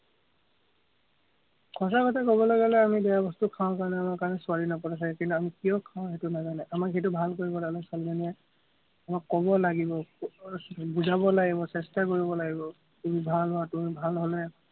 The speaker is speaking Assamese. সচা কথা কবলে গলে আমি বেয়া বস্তু খাওঁ কাৰণে আমাৰ কাৰণে ছোৱালী নপতে চাগে। কিন্তু, আমি কিয় খাঁও সেইটো নাজানে, আমাক সেইটো ভাল কৰিবৰ কাৰণে ছোৱালীজনীয়ে আমাক কব লাগিব, আহ বুজাব লাগিব, চেষ্টা কৰিব লাগিব, উম ভাল হোৱাতো, ভাল হলে।